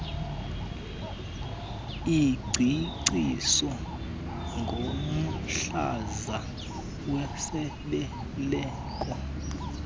ingcaciso ngomhlaza wesibeleko